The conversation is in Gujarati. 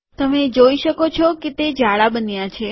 તમે જોઈ શકો છો કે તે જાડા બન્યા છે